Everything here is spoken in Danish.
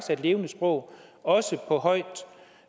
er et levende sprog også på højt